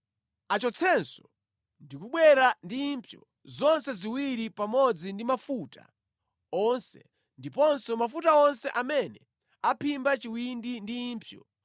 Achotsenso ndi kubwera ndi impsyo zonse ziwiri pamodzi ndi mafuta onse ndiponso mafuta onse amene aphimba chiwindi ndi impsyo